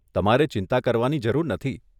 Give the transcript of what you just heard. તમારે ચિંતા કરવાની જરૂર નથી.